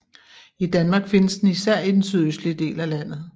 I Danmark findes den især i den sydøstlige del af landet